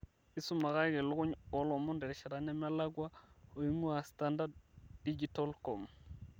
isumakaki ilukuny oolomon terishata nemelakua oing'uaa standarddigitalcom